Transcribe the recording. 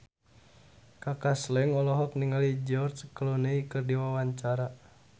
Kaka Slank olohok ningali George Clooney keur diwawancara